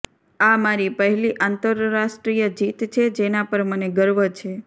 આ મારી પહેલી આંતરરાષ્ટ્રીય જીત છે જેના પર મને ગર્વ છે